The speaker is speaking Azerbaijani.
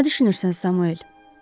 Nə düşünürsən, Samuel?